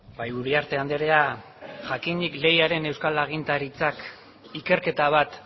bai uriarte andrea jakinik lehiaren euskal agintaritzak ikerketa bat